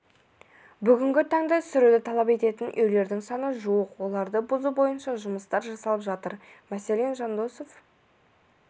бүгінгі таңда сүруді талап ететін үйлердің саны жуық оларды бұзу бойынша жұмыстар жасалып жатыр мәселен жандосов